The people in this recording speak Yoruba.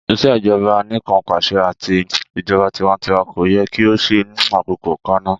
Ìṣèjọba Anìkanpàṣẹ ati ijọba tiwantiwa ko yẹ ki o ṣe ni akoko kanna.